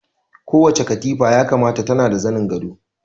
Kowace katifa ya kamata tana da zanin gado